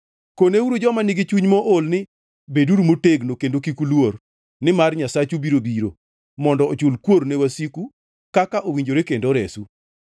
koneuru joma nigi chuny mool ni, “Beduru motegno kendo kik uluor; nimar Nyasachu biro biro, mondo ochul kuor ne wasiku, kaka owinjore kendo oresu.”